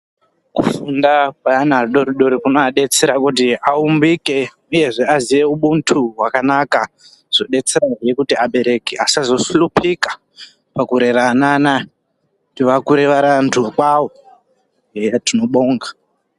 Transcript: Kufunda kwaana adori dori kunoadetsera kuti aumbike uyezve aziye ubuntu hwakanaka zvodetserahe kuti abereki vasazohlupika pakurera ana anaya kuti akure ari antu kwawo eya tinobonga.